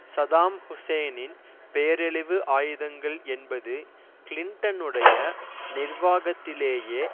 Saddam ஹூசேனின் பேரழிவு ஆயுதங்கள் என்பது கிளிண்டனுடைய நிர்வாகத்திலேயே